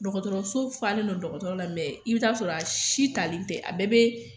Dɔgɔtɔrɔso falen no dɔgɔtɔrɔ la mɛ i bi t'a sɔrɔ a si talen tɛ a bɛɛ be